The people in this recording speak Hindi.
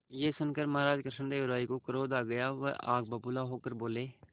यह सुनकर महाराज कृष्णदेव राय को क्रोध आ गया वह आग बबूला होकर बोले